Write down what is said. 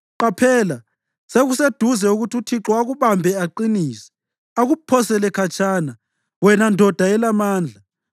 Qaphela, sekuseduze ukuthi uThixo akubambe aqinise, akuphosele khatshana, wena ndoda elamandla.